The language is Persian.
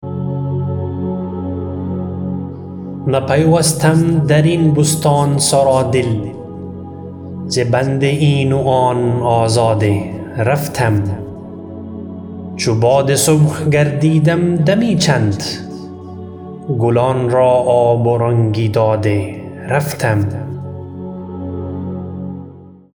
نه پیوستم درین بستان سرا دل ز بند این و آن آزاده رفتم چو باد صبح گردیدم دمی چند گلان را آب و رنگی داده رفتم